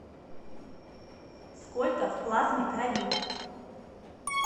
сколько в плазме крови